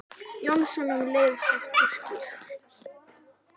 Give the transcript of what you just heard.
Jónsson um leið, hátt og skýrt.